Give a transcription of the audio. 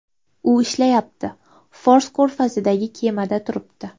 U ishlayapti, Fors ko‘rfazidagi kemada turibdi.